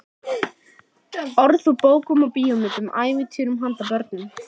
Rangar fallbeygingar nánast brottrekstrarsök úr skóla.